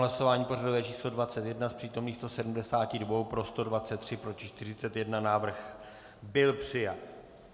Hlasování pořadové číslo 21, z přítomných 172 pro 123, proti 41, návrh byl přijat.